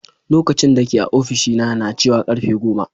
Lokacin dake a ofishina na cewa karfe goma.